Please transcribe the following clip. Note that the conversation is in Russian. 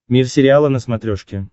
мир сериала на смотрешке